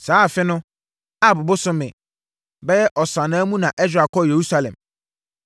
Saa afe no, Ab bosome (bɛyɛ Ɔsannaa) mu na Ɛsra kɔɔ Yerusalem.